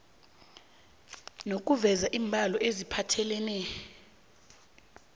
nokuveza iimbalo eziphathelene